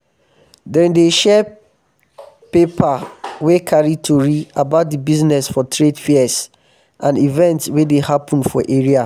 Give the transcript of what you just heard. dem dey share paper wey carry tori about di business for trade fairs um and events wey dey happen for area.